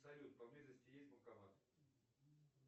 салют по близости есть банкомат